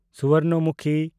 ᱥᱩᱵᱚᱨᱱᱚᱢᱩᱠᱷᱤ